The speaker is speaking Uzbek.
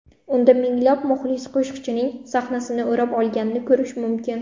Unda minglab muxlis qo‘shiqchining sahnasini o‘rab olganini ko‘rish mumkin.